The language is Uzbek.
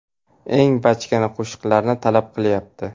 Eng bachkana qo‘shiqlarni talab qilyapti.